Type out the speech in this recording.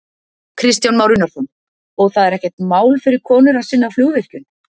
Kristján Már Unnarsson: Og það er ekkert mál fyrir konur að sinna flugvirkjun?